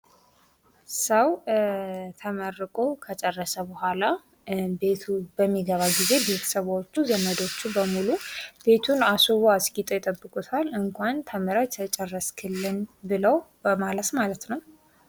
ሰው ተመርቆ ከጨረሰ በኃላ ቤቱ በሚገባ ጊዜ ቤተሰቦቹ ዘመዶቹ በሙሉ ቤቱን አስውበው አስጊጠው ይጠብቁታል። እንኳን ተምረህ ጨረስክልን ብለው በማለት ማለት ነው።